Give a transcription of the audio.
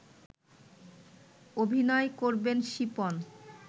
অভিনয় করবেন শিপন